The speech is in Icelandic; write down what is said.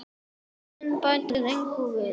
Trúin bæti hér engu við.